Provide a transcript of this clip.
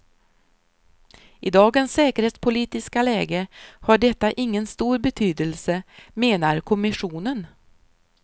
I dagens säkerhetspolitiska läge har detta ingen stor betydelse, menar kommissionen.